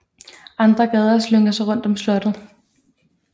Andre gader slynger sig rundt om slottet